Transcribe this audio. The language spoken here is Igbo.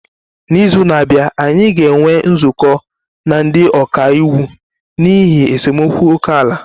N'izu na-abịa, anyị ga-enwe nzukọ na ndị ọka iwu n'ihi esemokwu ókè-ala